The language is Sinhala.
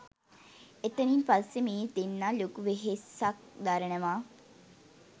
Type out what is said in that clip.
එතනින් පස්සෙ මේ දෙන්න ලොකු වෙහෙසක් දරනව